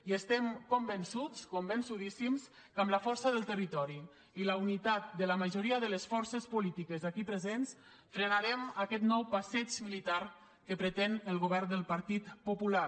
i estem convençuts convençudíssims que amb la força del territori i la unitat de la majoria de les forces polítiques aquí presents frenarem aquest nou passeig militar que pretén el govern del partit popular